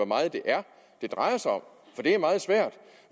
meget det er det drejer sig om for det er meget svært